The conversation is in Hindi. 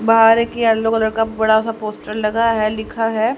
बाहर एक येलो कलर का बड़ा सा पोस्टर लगा है लिखा है--